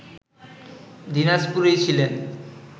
দিনাজপুরেই ছিলেন